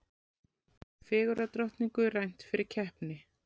Fegurðardrottningu rænt fyrir keppni